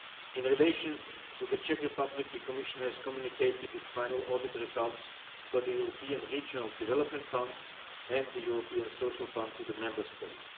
In relation to the Czech Republic, the Commission has communicated its final audit results for the European Regional Development Fund and the European Social Fund to the Member State.